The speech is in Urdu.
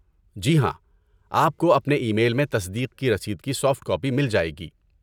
جی ہاں، آپ کو اپنے ای میل میں تصدیق کی رسید کی سافٹ کاپی مل جائے گی۔